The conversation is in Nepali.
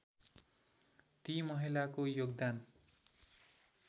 ती महिलाको योगदान